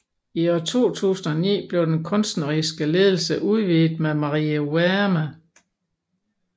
I 2009 blev den kunstneriske ledelse udvidet med Marie Wärme